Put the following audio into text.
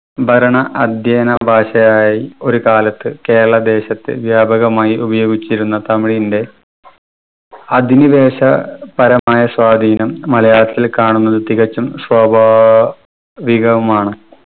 ഭരണ അദ്ധ്യേയന ഭാഷയായി ഒരു കാലത്തു കേരളം ദേശത്ത് വ്യാപകമായി ഉപയോഗിച്ചിരുന്ന തമിഴിന്റെ അധിനിവേശ പരമായ സ്വാധീനം മലയാളത്തില് കാണുന്നത് തികച്ചും സ്വാഭാവികമാണ്.